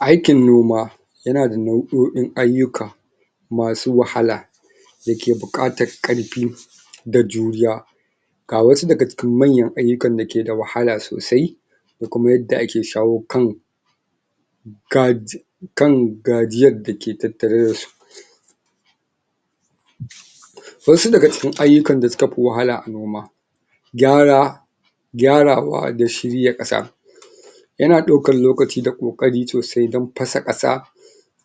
aikin noma yana da nau'oin aiyuka masu wahala dake bukatar karfi da juriya ga wasu dake cikin manyan, aiyukan dake da wahala sosai da kuma yadda ake shawa kan gajii kan gajiyar da ke tattare da su wasu da ga cikin aiyukan da suka fi walala a noma kyara kyarawa da shirya kasa yana daukan lokaci da kokari sosai dan fasa kasa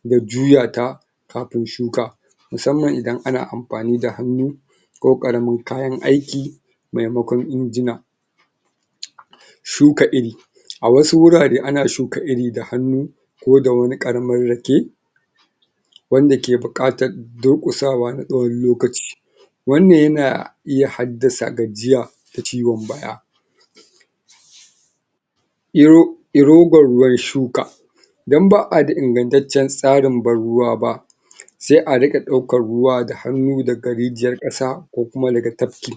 da juyata kafin shuka musamman idan ana anfani da hannu ko karamin kayan aiki maimakon injina shuka iri a wasu hurare ana shuka iri da hannu ko da wani karamin rake wadda ke bukatan durkusawa na tsakon lokaci wan nan yana iya haddasa gajiya da cikon baya iro irogon ruwan shuka idan baa ingancecen tsarin ban ruwaba sai a rinka daukan ruwa, da hanu da ga rijiyar kasa, ko kuma daga tafki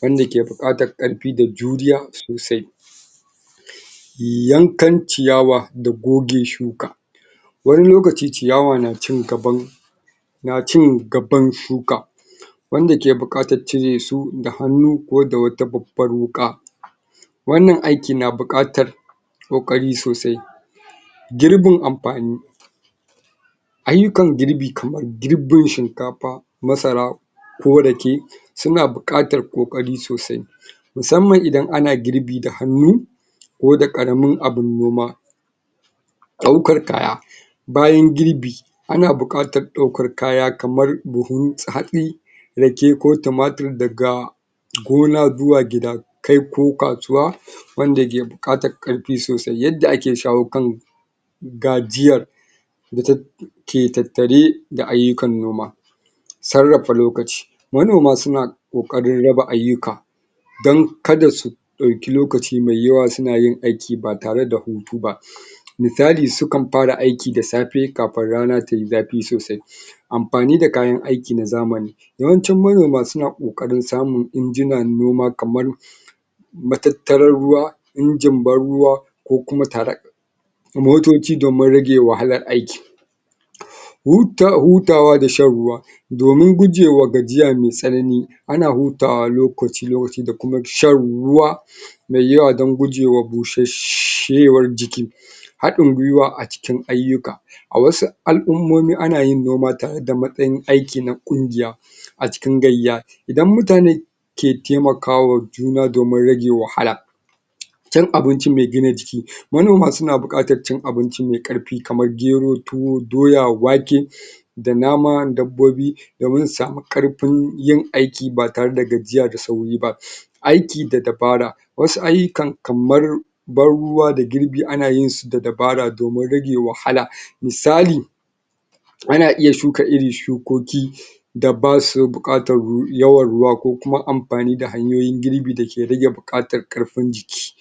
wadda ke buklatan karfi da juriya sosai yan kan ciyawa da goge shuka wani lokaci ciyawa na cin gaban.. na cin gaban shuka wan da ke bukatan ciresu da hanu, ko da wata babbar huka wan nan aiki na bukatan kokari sosai girbin anfani aiyukan girbi kaman girbin shinkafa masara ko rake suna bukatan kokari sosai musamman idan ana girbi da hanu ko da karamin abin noma daukan kaya bayan girbi a na bukatan daukan kaya kaman buhun hatsi rake ko tumatur daga gona zuwa gida kai ko kasuwa wan da ke bukatan karfi sosai, yadda ake shaho kan gajiyan da da take tattare da aiyukan noma sarrafa lokaci manoma suna kokarin raba aiyuka dan kada su dauki lokaci mai yawa suna yin aiki ba tare da hutuba musali sukan fara aiki da safe, kafin su kana tayi zafi sosai anfani da kayan aiki na zamani yawancin manoma suna kokarin samun injinan noma kaman matattaran ruwa injin ban ruwa ko kuma tarak motoci domin rage wahalai aiki hutawa, hutawa da shan ruwa domin gogewa gajiya mai tsanani ana hutawa lokaci lokaci da kuma shan ruwa mai yawa dan, gugema bushashshewar jiki hadin kurwa a cikin aiyuka a wasu alummomi anayin noma tare da matsayin aiki na kungiya a cikin gaiya idan mutane ke taimakawa juna domin rage wahala cin abinci mai gina jiki ma noma suna bukatan cin abinci mai karfi kaman gero, tuwo, doya, wake da naman dabbobi doimin su sami karfin yin aiki ba tare da gajiya da sauri ba aiki da dabara wasu aiyukan kamar ban ruwa da girbi anayin shi, da dabara, domin rage wahala misali ana iya shuka irin shukoki da basu bukatan yawan ruwa ko kuma anfani da hanyoyin girbi dake rage bukatan karfin jiki